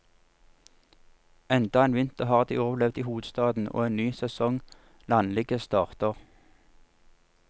Enda en vinter har de overlevd i hovedstaden, og en ny sesong landligge starter.